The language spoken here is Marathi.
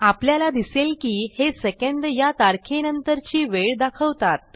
आपल्याला दिसेल की हे सेकंद या तारखे नंतरची वेळ दाखवतात